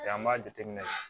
an b'a jateminɛ